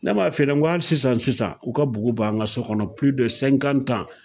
Ne m'a f'e ɲɛnɛ sisan sisan u ka bugu b'an ka sokɔnɔ pili de sɛnkan tan